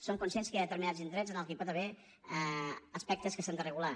som conscients que hi ha determinats indrets en els que hi pot haver aspectes que s’han de regular